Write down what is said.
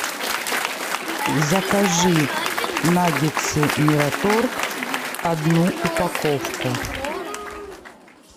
закажи наггетсы мираторг одну упаковку